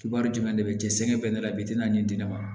Kiban jumɛn de bɛ jɛ sɛgɛn bɛ ne la bi n'a di ne ma